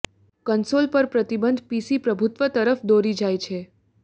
console પર પ્રતિબંધ PC પ્રભુત્વ તરફ દોરી જાય છે